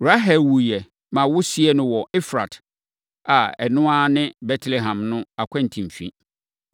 Rahel wuiɛ, ma wɔsiee no wɔ Efrat a ɛno ara ne Betlehem no akwantemfi.